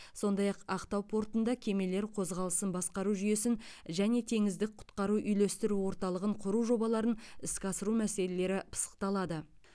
сондай ақ ақтау портында кемелер қозғалысын басқару жүйесін және теңіздік құтқару үйлестіру орталығын құру жобаларын іске асыру мәселелері пысықталады